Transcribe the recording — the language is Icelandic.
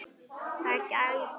Þeir gætu.